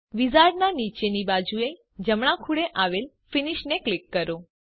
વિઝાર્ડનાં નીચેની બાજુએ જમણાં ખૂણે આવેલ ફિનિશ ને ક્લિક કરો